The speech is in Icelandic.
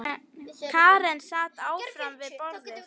Karen sat áfram við borðið.